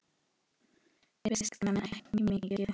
Viskan ekki mikil!